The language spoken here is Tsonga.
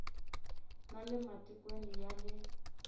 na le matikweni ya le